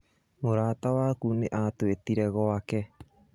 Mũrata waku nĩ atwĩtire gwake